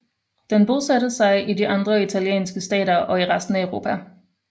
Den bosatte sig i de andre italienske stater og i resten af Europa